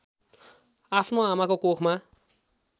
आफ्नो आमाको कोखमा